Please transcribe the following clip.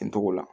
Nin togo la